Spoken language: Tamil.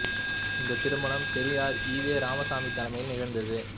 இந்தத் திருமணம் பெரியார் ஈ வெ இராமசாமி தலைமையில் நிகழ்ந்தது